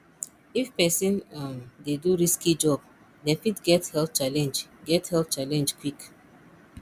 if person um dey do risky job dem fit get health challenge get health challenge quick